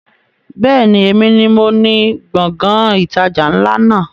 Bẹ́ẹ̀ni, èmi ni moní Gbọ̀ngán ìtajà ńlá náà